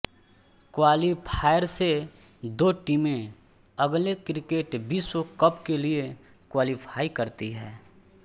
qualifier से दो टीमें अगले क्रिकेट विश्व कप के लिए क्वालीफाई करती हैं